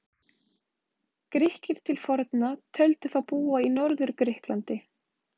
Grikkir til forna töldu þá búa í Norður-Grikklandi.